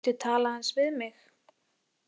Viltu tala aðeins við mig.